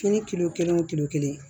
Fini kilo kelen wo kelen